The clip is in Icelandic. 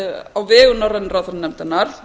á vegum norrænu ráðherranefndarinnar